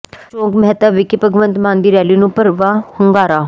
ਚੌਾਕ ਮਹਿਤਾ ਵਿਖੇ ਭਗਵੰਤ ਮਾਨ ਦੀ ਰੈਲੀ ਨੂੰ ਭਰਵਾਂ ਹੁੰਗਾਰਾ